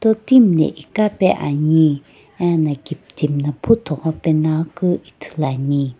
totim na iqa oe ani ena kiptim na puthugho pe ngoaku ithuluani.